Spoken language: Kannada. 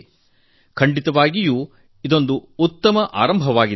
ಇದು ಖಂಡಿತವಾಗಿಯೂ ಉತ್ತಮ ಆರಂಭವಾಗಿದೆ